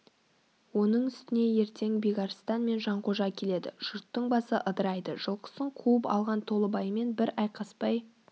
оның үстіне ертең бекарыстан мен жанқожа келеді жұрттың басы ыдырайды жылқысын қуып алған толыбаймен бір айқаспай